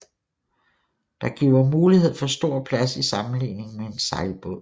Det giver mulighed for stor plads i sammenligning med en sejlbåd